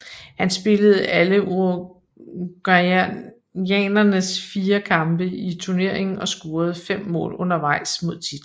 Han spillede alle uruguayanernes fire kampe i turneringen og scorede fem mål undervejs mod titlen